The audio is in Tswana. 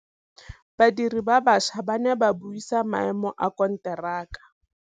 Badiri ba baša ba ne ba buisa maêmô a konteraka.